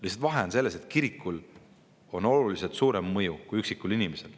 Lihtsalt vahe on selles, et kirikul on oluliselt suurem mõju kui üksikul inimesel.